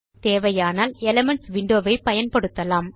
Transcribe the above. தேவையானால் elements window ஐ பயன்படுத்தலாம்